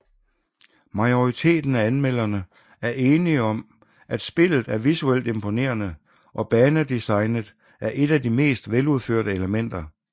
Majoriteten af anmelderne er enige om at spillet er visuelt imponerende og banedesignet er et af de mest veludførte elementer